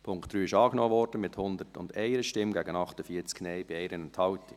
Der Punkt 3 wurde angenommen, mit 101 Ja- gegen 48 Nein-Stimmen bei 1 Enthaltung.